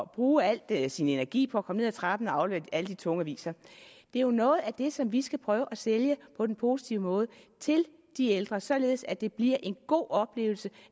bruge al sin energi på at komme ned ad trappen og aflevere alle de tunge aviser det er jo noget af det som vi skal prøve at sælge på den positive måde til de ældre således at det bliver en god oplevelse